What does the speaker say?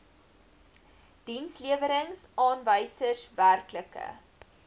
dienslewerings aanwysers werklike